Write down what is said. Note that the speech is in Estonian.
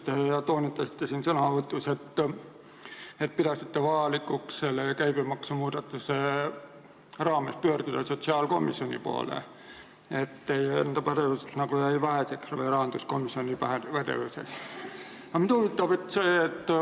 Te toonitasite oma sõnavõtus, et pidasite vajalikuks pakutud käibemaksuseaduse muudatuse küsimuses pöörduda sotsiaalkomisjoni poole, et teie enda või kogu rahanduskomisjoni pädevus jäi väheseks.